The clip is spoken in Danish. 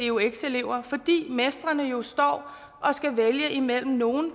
eux elever fordi mestrene jo står og skal vælge imellem nogle